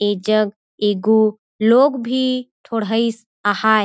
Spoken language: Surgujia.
ऐ जग ऐ गो लोग भी ठोड़ हाइस आहाए।